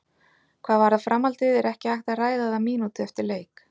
Hvað varðar framhaldið er ekki hægt að ræða það mínútu eftir leik.